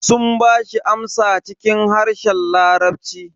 Sun bashi amsa cikin harshen larabci.